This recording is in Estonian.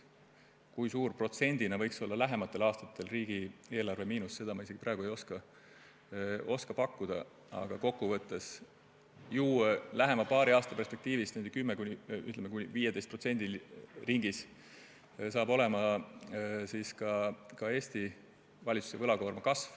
Seda, kui suur võiks lähematel aastatel protsentuaalselt olla riigieelarve miinus, ma praegu pakkuda ei oska, aga kokkuvõttes saab lähema paari aasta perspektiivis Eesti valitsuse võlakoorma kasv olema umbes 10–15%.